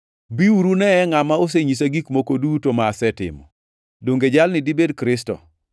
“Biuru uneye ngʼama osenyisa gik moko duto ma asetimo. Donge jalni dibed Kristo?”